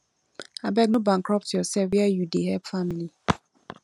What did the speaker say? abeg o no bankrupt yoursef where you dey help family